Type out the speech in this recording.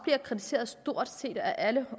kritiseret af stort set alle